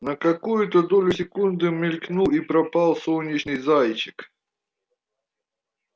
на какую-то долю секунды мелькнул и пропал солнечный зайчик